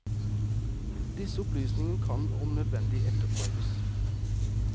Disse opplysningene kan om nødvendig etterprøves.